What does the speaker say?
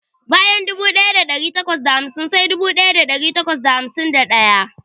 Bayan dubu ɗaya da ɗari takwas da hamsin sai dubu ɗaya da ɗari takwas da hamsin da ɗaya.